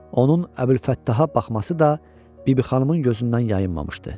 Onun Əbülfəttaha baxması da bibi xanımın gözündən yayınmamışdı.